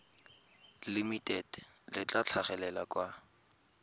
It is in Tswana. limited le tla tlhagelela kwa